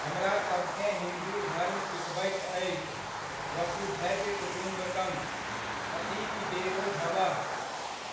हमरा सभकेँ हिन्दु धर्म सीखबैत अछि, वसुधैव कुटुम्बकम् ,अतिथि देवो भवः।